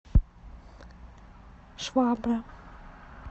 швабра